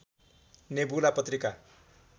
nebula Patrika